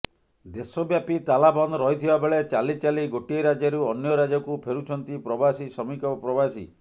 ଦେଶବ୍ୟାପି ତାଲା ବନ୍ଦ ରହିଥିବା ବେଳେ ଚାଲିଚାଲି ଗୋଟିଏ ରାଜ୍ୟରୁ ଅନ୍ୟ ରାଜ୍ୟକୁ ଫେରୁଛନ୍ତି ପ୍ରବାସୀ ଶ୍ରମିକ ପ୍ରବାସୀ